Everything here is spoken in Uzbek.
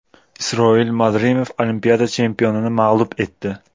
Isroil Madrimov Olimpiada chempionini mag‘lub etdi.